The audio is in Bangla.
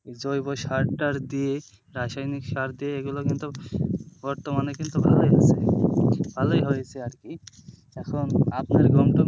জৈব সার টার দিয়ে রাসায়নিক সার দিয়ে এগুলো কিন্তু বর্তমানে কিন্তু ভালই হয়েছে আরকি এখন,